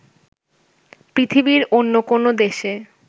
পৃথিবীর অন্য কোনো দেশে